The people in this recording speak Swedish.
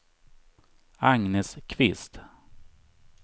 Agnes Kvist